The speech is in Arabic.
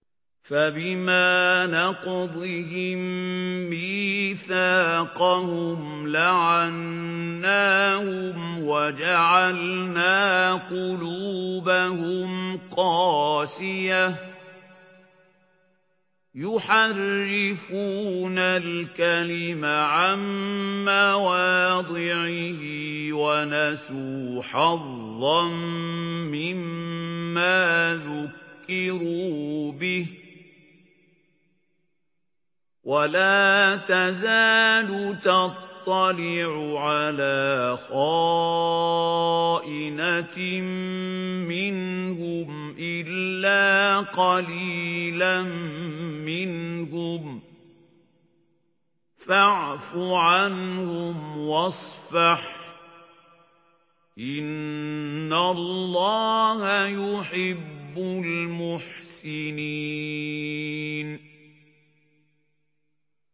فَبِمَا نَقْضِهِم مِّيثَاقَهُمْ لَعَنَّاهُمْ وَجَعَلْنَا قُلُوبَهُمْ قَاسِيَةً ۖ يُحَرِّفُونَ الْكَلِمَ عَن مَّوَاضِعِهِ ۙ وَنَسُوا حَظًّا مِّمَّا ذُكِّرُوا بِهِ ۚ وَلَا تَزَالُ تَطَّلِعُ عَلَىٰ خَائِنَةٍ مِّنْهُمْ إِلَّا قَلِيلًا مِّنْهُمْ ۖ فَاعْفُ عَنْهُمْ وَاصْفَحْ ۚ إِنَّ اللَّهَ يُحِبُّ الْمُحْسِنِينَ